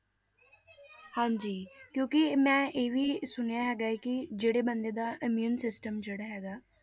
ਹਾਂਜੀ ਕਿਉਂਕਿ ਮੈਂ ਇਹ ਵੀ ਸੁਣਿਆ ਹੈਗਾ ਕਿ ਜਿਹੜੇ ਬੰਦੇ ਦਾ immune system ਜਿਹੜਾ ਹੈਗਾ ਹੈ,